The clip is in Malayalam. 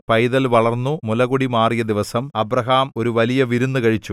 പൈതൽ വളർന്നു മുലകുടി മാറിയ ദിവസം അബ്രാഹാം ഒരു വലിയ വിരുന്നു കഴിച്ചു